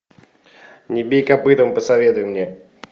не бей копытом посоветуй мне